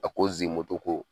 A ko Zimoto ko